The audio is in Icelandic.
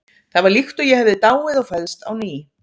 Það var líkt og ég hefði dáið og fæðst á ný.